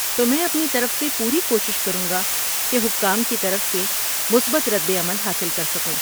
تو میں اپنی طرف سے پوری کوشش کروں گا کہ حکام کی طرف سے مثبت رد عمل حاصل کر سکوں۔